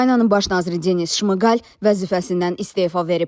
Ukraynanın baş naziri Denis Şmıqal vəzifəsindən istefa verib.